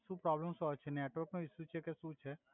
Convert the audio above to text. સુ પ્રોબલમ સુ આવે છે નેટવર્ક નો ઇસ્યુ છે કે સુ છે